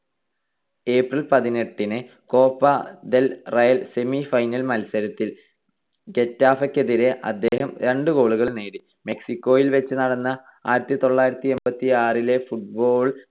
April പതിനെട്ടിന് Copa del Rey semifinal മത്സരത്തിൽ ഗെറ്റാഫെക്കെതിരെ അദ്ദേഹം രണ്ട് goal കൾ നേടി. മെക്സിക്കോയിൽ വെച്ച് നടന്ന ആയിരത്തിത്തൊള്ളായിരത്തി എൺപത്തിയാറിലെ football